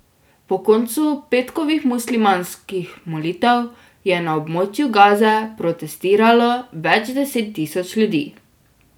Po koncu petkovih muslimanskih molitev je na območju Gaze protestiralo več deset tisoč ljudi.